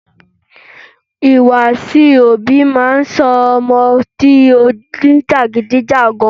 Ìhùwàsí òbí máa ń sọ ọmọ di onijagidijagan.